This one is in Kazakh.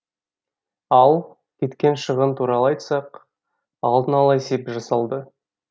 ал кеткен шығын туралы айтсақ алдын ала есеп жасалды